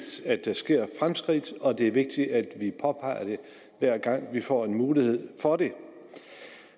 at der sker fremskridt og det er vigtigt at vi påpeger det hver gang vi får en mulighed for det